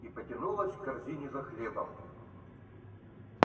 и потянулась к корзине за хлебом